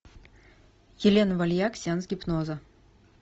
елена вальяк сеанс гипноза